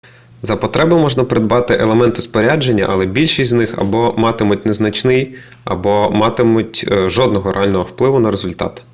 за потреби можна придбати елементи спорядження але більшість з них або матимуть незначний або не матимуть жодного реального впливу на результат